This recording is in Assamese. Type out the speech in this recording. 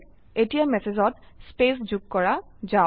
এতিয়া ম্যাসেজত স্পেস যোগ কৰা যাওক